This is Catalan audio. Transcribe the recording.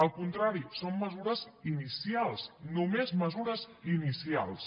al contrari són mesures inicials només mesures inicials